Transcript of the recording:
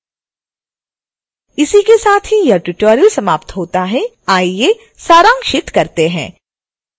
इसके साथ ही यह ट्यूटोरियल समाप्त होता है आइए सारांशित करते हैं